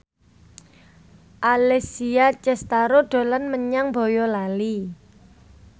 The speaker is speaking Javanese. Alessia Cestaro dolan menyang Boyolali